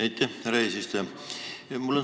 Aitäh, härra eesistuja!